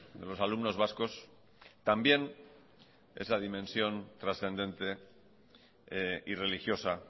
de los alumnos vascos también esa dimensión trascendente y religiosa